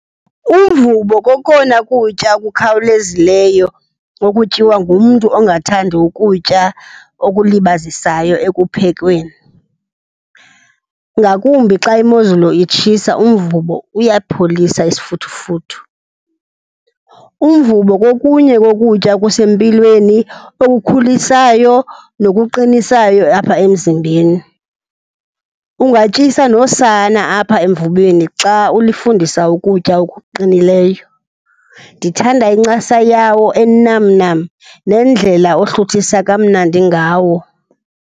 Umvubo kokona kutya kukhawulezileyo okutyiwa ngumntu ongathandi ukutya okulibazisayo ekuphekweni. Ngakumbi xa imozulu itshisa, umvubo uyapholisa isifuthufuthu. Umvubo kokunye kokutya okusempilweni, okukhulisayo nokuqinisayo apha emzimbeni. Ungatyisa nosana apha emvubeni xa ulifundisa ukutya okuqinileyo. Ndithanda incasa yawo enamnam nendlela ohluthisa kamnandi ngawo.